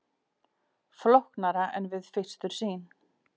Flóknara en við fyrstu sýn